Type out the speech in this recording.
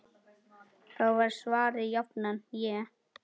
Þá var svarið jafnan: Ég?!